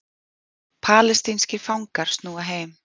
Palestínskir fangar snúa heim